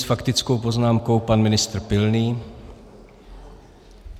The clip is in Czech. S faktickou poznámkou pan ministr Pilný.